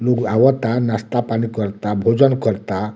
लोग आवता नास्ता-पानी करता भोजन करता।